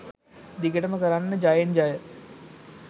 දිගටම කරන්න ජයෙන් ජය